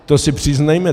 To si přiznejme.